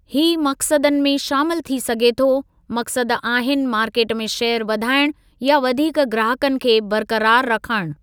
ही मक़सदनि में शामिलु थी सघे थो, मक़सदु आहिनि मार्केट में शेयर वधाइणु या वधीक ग्राहकनि खे बरक़रार रखणु।